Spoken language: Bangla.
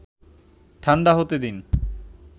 ঠাণ্ডা হতে দিন